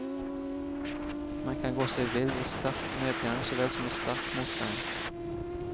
Man kan gå seg vill i sterk medgang så vel som i sterk motgang.